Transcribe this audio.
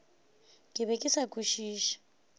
ke be ke sa kwešiše